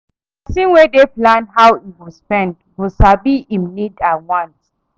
Pesin wey dey plan how im go spend go sabi im need and wants